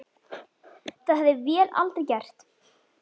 Það hefði vél aldrei gert.